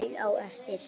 Maul á eftir.